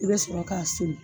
I be sɔrɔ k'a songin